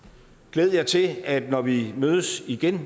glæd jer til at når vi mødes igen